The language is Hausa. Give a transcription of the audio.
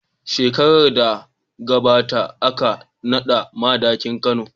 Shekarar da ta gabata aka naɗa Madakin Kano.